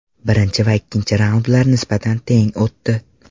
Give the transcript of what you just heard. Birinchi va ikkinchi raundlar nisbatan teng o‘tdi.